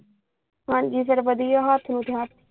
ਹਾਂਜੀ ਫੇਰ ਵਧੀਆ ਹੱਥ ਨੂੰ।